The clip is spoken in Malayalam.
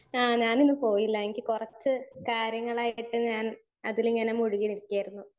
സ്പീക്കർ 1 ഏഹ് ഞാനിന്ന് പോയില്ല എനിക്ക് കൊറച്ച് കാര്യങ്ങളായിട്ട് ഞാൻ അതിലിങ്ങനെ മുഴുകി നിക്കായിരുന്നു.